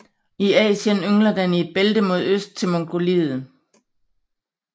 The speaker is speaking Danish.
I Asien yngler den i et bælte mod øst til Mongoliet